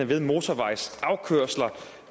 ved motorvejsafkørsler